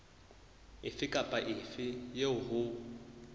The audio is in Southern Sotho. efe kapa efe eo ho